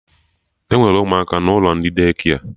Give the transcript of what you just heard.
Enwere ụmụaka n'ụlọ ndị Daycare